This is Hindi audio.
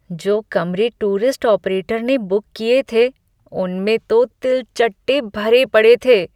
जो कमरे टूरिस्ट ऑपरेटर ने बुक किए थे, उनमें तो तिलचट्टे भरे पड़े थे।